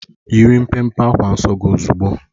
Yiri mpe mpe akwa nsọ gị ozugbo!